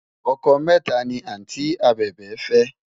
ọkọ méta ní anti abèbè fé